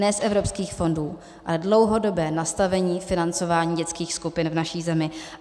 Ne z evropských fondů, ale dlouhodobé nastavení financování dětských skupin v naší zemi.